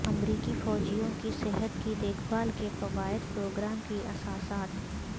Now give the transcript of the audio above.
امریکی فوجیوں کی صحت کی دیکھ بھال کے فوائد پروگرام کی اساسات